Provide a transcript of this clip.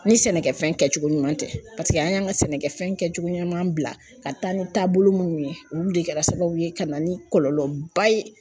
Ni sɛnɛkɛfɛn kɛcogo ɲuman tɛ an y'an ka sɛnɛkɛfɛn kɛcogo ɲuman bila ka taa ni taabolo minnu ye olu de kɛra sababu ye ka na ni kɔlɔlɔba ye